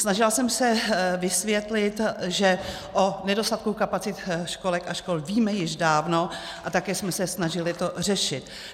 Snažila jsem se vysvětlit, že o nedostatku kapacit školek a škol víme již dávno a také jsme se snažili to řešit.